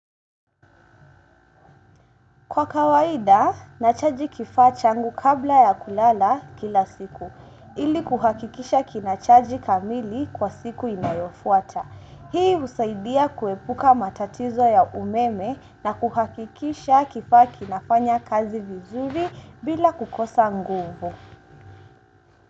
Kwa kawaida, nachaji kifaa changu kabla ya kulala kila siku. Ili kuhakikisha kinachaji kamili kwa siku inayofwata. Hii husaidia kuepuka matatizo ya umeme na kuhakikisha kifaa kinafanya kazi vizuri bila kukosa nguvu.